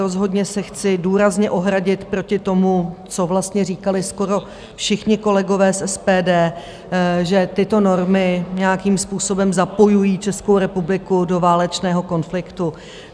Rozhodně se chci důrazně ohradit proti tomu, co vlastně říkali skoro všichni kolegové z SPD, že tyto normy nějakým způsobem zapojují Českou republiku do válečného konfliktu.